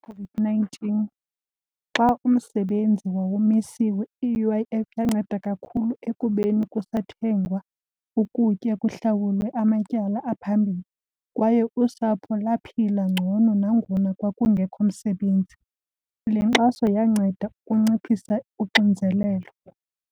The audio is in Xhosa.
COVID-nineteen, xa umsebenzi wawumisiwe i-U_I_F yanceda kakhulu ekubeni kusathengwa ukutya kuhlawulwe amatyala aphambili. Kwaye usapho laphila ngcono nangona kwakungekho msebenzi. Le nkxaso yanceda ukunciphisa unxinzelelo.